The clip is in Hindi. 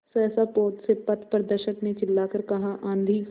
सहसा पोत से पथप्रदर्शक ने चिल्लाकर कहा आँधी